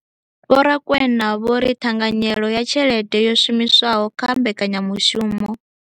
Vho Rakwena vho ri ṱhanganyelo ya tshelede yo shumiswaho kha mbekanyamushumo